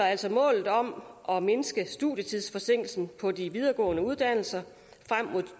altså målet om at mindske studietidsforsinkelsen på de videregående uddannelser frem mod